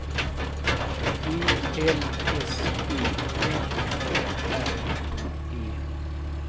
E L S E M A R I E